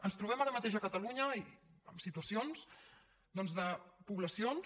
ens trobem ara mateix a catalunya amb situacions doncs de poblacions